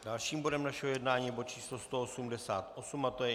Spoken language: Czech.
Dalším bodem našeho jednání je bod číslo 188 a to je